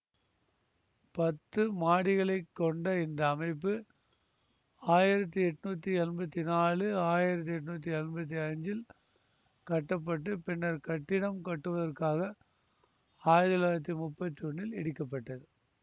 பத்து மாடிகளை கொண்ட இந்த அமைப்பு ஆயிரத்தி எட்ணூத்தி எம்பத்தி நாலு ஆயிரத்தி எட்ணூத்தி எம்பத்தி அஞ்சில் கட்டப்பட்டுப் பின்னர் கட்டிடம் கட்டுவதற்காக ஆயிரத்தி தொள்ளாயிரத்தி முப்பத்தி ஒன்னில் இடிக்கப்பட்டது